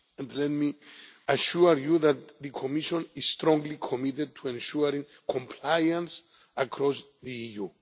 Let me assure you that the Commission is strongly committed to ensuring compliance across the